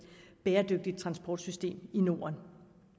bæredygtigt transportsystem i norden